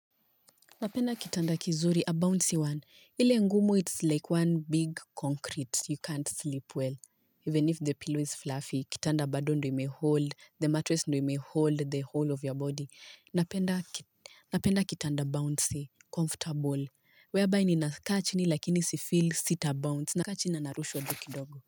Napenda kitanda kizuri a bouncy one. Ile ngumu it's like one big concrete. You can't sleep well. Even if the pillow is fluffy, kitanda bado ndo imehold, the mattress ndo imehold the whole of your body. Napenda kitanda bouncy, comfortable, where by ninakaa chini lakini sifil sita bounce. Nakaachini na narushwa juu kidogo.